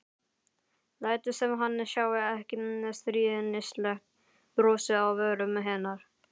Lætur sem hann sjái ekki stríðnislegt brosið á vörum hennar.